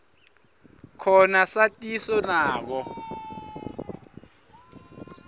khona satiso nako